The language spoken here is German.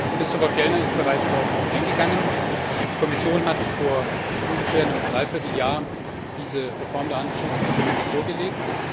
Christofer Fjellner ist bereits darauf eingegangen Die Kommission hat vor ungefähr einem Dreivierteljahr diese Reform der Handelsschutzinstrumente vorgelegt.